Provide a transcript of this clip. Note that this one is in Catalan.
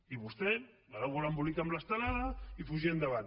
i vostè va embolicat amb l’estelada i fugida endavant